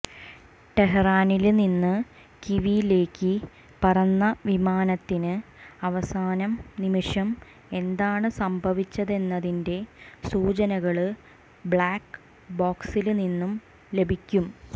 ടെഹ്റാനില്നിന്ന് കീവിലേക്ക് പറന്ന വിമാനത്തിന് അവസാന നിമിഷം എന്താണ് സംഭവിച്ചതെന്നതിന്റെ സൂചനകള് ബ്ലാക്ക് ബോക്സില്നിന്ന് ലഭിക്കും